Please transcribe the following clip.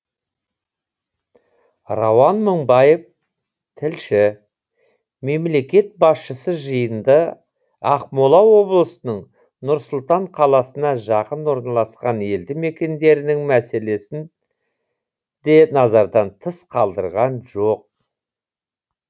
рауан мыңбаев тілші мемлекет басшысы жиында ақмола облысының нұр сұлтан қаласына жақын орналасқан елді мекендерінің мәселесін де назардан тыс қалдырған жоқ